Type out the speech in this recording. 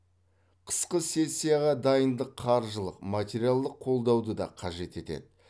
қысқы сессияға дайындық қаржылық материалдық қолдауды да қажет етеді